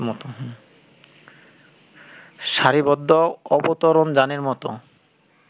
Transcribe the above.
সারিবদ্ধ অবতরণযানের মতো